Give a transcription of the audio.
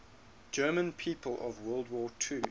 german people of world war ii